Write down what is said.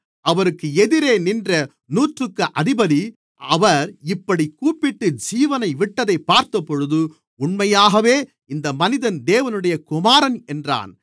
அவருக்கு எதிரே நின்ற நூற்றுக்கு அதிபதி அவர் இப்படிக் கூப்பிட்டு ஜீவனை விட்டதைப் பார்த்தபோது உண்மையாகவே இந்த மனிதன் தேவனுடைய குமாரன் என்றான்